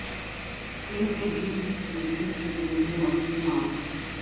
تیل کی جلد کی قسم کے لئے مٹی ماسک